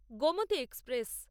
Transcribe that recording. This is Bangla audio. গোমতী এক্সপ্রেস